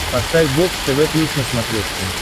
поставь бокс тв плюс на смотрешке